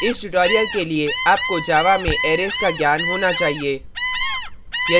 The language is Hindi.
इस tutorial के लिए आपको java में arrays का ज्ञान होना चाहिए